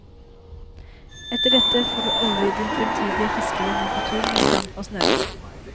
Etter dette får du aldri din fremtidige fiskevenn med på tur med stang og snøre.